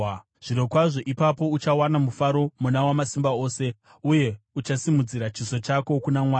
Zvirokwazvo ipapo uchawana mufaro muna Wamasimba Ose, uye uchasimudzira chiso chako kuna Mwari.